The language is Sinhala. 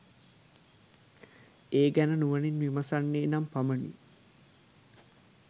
ඒ ගැන නුවණින් විමසන්නේ නම් පමණි.